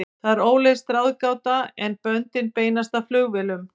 Það er óleyst ráðgáta, en böndin beinast að flugvélum.